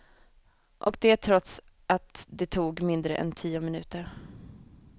Och det trots att det tog mindre än tio minuter.